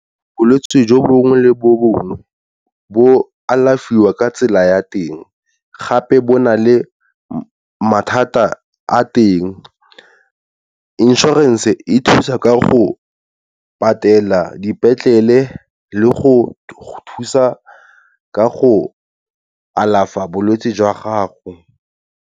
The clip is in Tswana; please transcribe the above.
Bolwetse jo bongwe le bongwe bo alafiwa ka tsela ya teng gape bo na le mathata a teng. Inshorense e thusa ka go patela dipetlele le go thusa ka go alafa bolwetsi jwa gago.